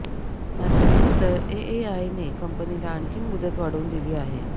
मात्र नंतर एएआयने कंपनीला आणखी मुदत वाढवून दिली आहे